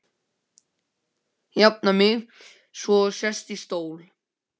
Jafna mig svo og sest í stól.